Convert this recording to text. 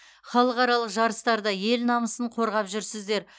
халықаралық жарыстарда ел намысын қорғап жүрсіздер